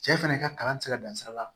Cɛ fɛnɛ ka kalan ti se ka dan sira la